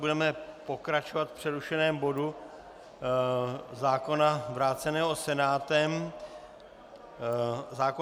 Budeme pokračovat v přerušeném bodu zákona vráceného Senátem zákona